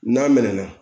N'a mɛna